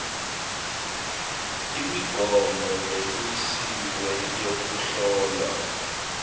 imigomo lemisiwe yekuhlola